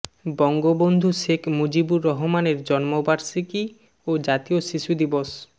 বঙ্গবন্ধু শেখ মুজিবুর রহমানের জন্মবার্ষিকী ও জাতীয় শিশু দিবস